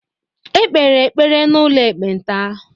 e kpere ekpere n’ụlọ ekpenta